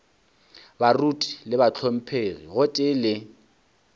baruti le bahlomphegi gotee le